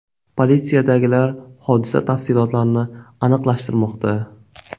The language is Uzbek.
Politsiyadagilar hodisa tafsilotlarini aniqlashtirmoqda.